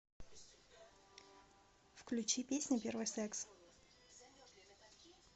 включи песня первый секс